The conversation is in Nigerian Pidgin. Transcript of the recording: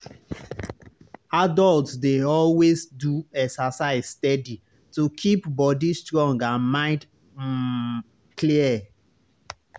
adults dey always do exercise steady to keep body strong and mind um clear.